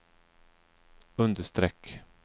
understreck